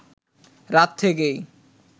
রাত থেকেই